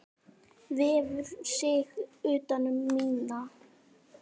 Vefur sig utan um mína.